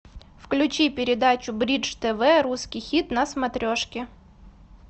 включи передачу бридж тв русский хит на смотрешке